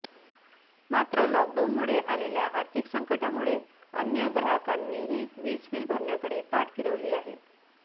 मात्र लॉकडाऊनमुळे आलेल्या आर्थिक संकटामुळे अन्य ग्राहकांनीही वीज बिल भरण्याकडे पाठ फिरवली आहे